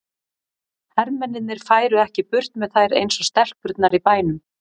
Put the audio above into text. Hermennirnir færu ekki burt með þær eins og stelpurnar í bænum.